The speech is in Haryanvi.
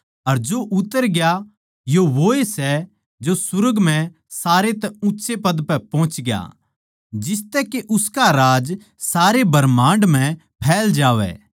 अर जो उतर ग्या यो वोए सै जो सुर्ग म्ह सारै तै ऊँच्चे पद पै पोहच ग्या जिसतै के उसका राज सारे ब्रह्माण्ड म्ह फैल जावै